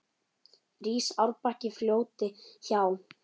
Rís árbakki fljóti hjá.